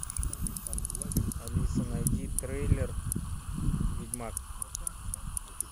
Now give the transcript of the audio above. алиса найди трейлер ведьмак